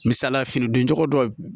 Misalila fini don cogo dɔ